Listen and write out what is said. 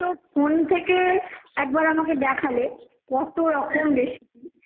তুমি তো phone থেকে একবার আমাকে দেখালে কত রকম recipe